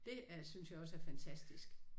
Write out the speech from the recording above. Det er synes jeg også er fantastisk